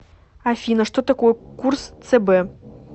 афина что такое курс цб